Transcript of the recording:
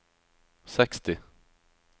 seksti